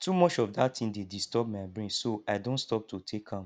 too much of dat thing dey disturb my brain so i don stop to take am